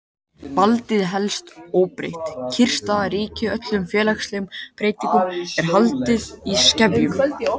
Valdið helst óbreytt, kyrrstaða ríkir og öllum félagslegum breytingum er haldið í skefjum.